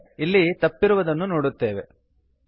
ಆದರೆ ಅಲ್ಲಿ ತಪ್ಪಿರುವುದನ್ನು ನೋಡುತ್ತಿದ್ದೇವೆ